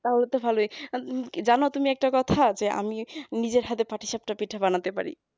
তাহলে তো ভালই জানো তুমি একটা কথা আছে আমি নিজের হাতে পাটি-সাপটা পিঠা বানাতে পারি